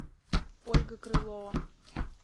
ольга крылова